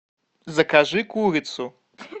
закажи курицу